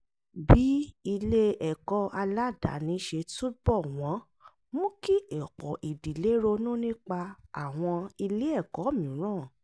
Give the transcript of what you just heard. bí ilé ẹ̀kọ́ aládàáni ṣe túbọ̀ wọ́n mú kí ọ̀pọ̀ ìdílé ronú nípa àwọn ilé ẹ̀kọ́ mìíràn